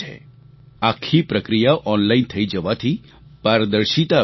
આખી પ્રક્રિયા ઓનલાઈન થઈ જવાથી પારદર્શિતા આવી ગઈ છે